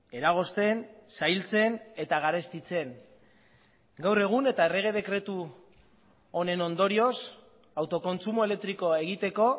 eragozten zailtzen eta garestitzen gaur egun eta errege dekretu honen ondorioz autokontsumo elektrikoa egiteko